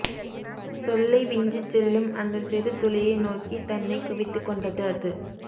சொல்லை விஞ்சிச்செல்லும் அந்த சிறு துளியை நோக்கி தன்னை குவித்துக் கொண்டது அது